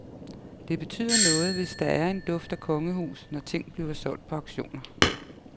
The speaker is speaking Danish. Det betyder noget, hvis der er en duft af kongehus, når ting bliver solgt på auktioner.